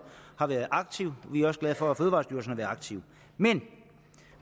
har været aktiv vi er også glade for at fødevarestyrelsen har været aktiv men